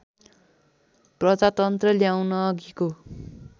प्रजातन्त्र ल्याउनु अघिको